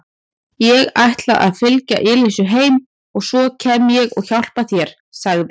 Ég ætla að fylgja Elísu heim og svo kem ég og hjálpa þér sagði